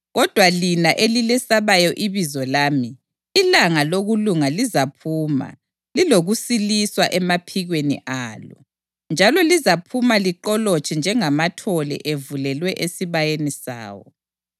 Kodwa lina elilesabayo ibizo lami, ilanga lokulunga lizaphuma lilokusiliswa emaphikweni alo. Njalo lizaphuma liqolotshe njengamathole evulelwe esibayeni sawo.